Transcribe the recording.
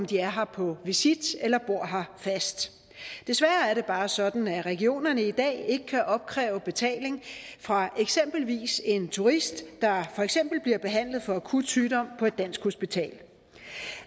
de er her på visit eller bor her fast desværre er det bare sådan at regionerne i dag ikke kan opkræve betaling fra eksempelvis en turist der bliver behandlet for akut sygdom på et dansk hospital